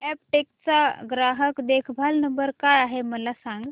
Aptech चा ग्राहक देखभाल नंबर काय आहे मला सांग